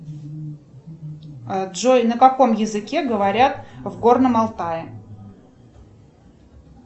джой на каком языке говорят в горном алтае